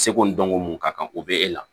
Seko ni dɔnko mun ka kan o bɛ e la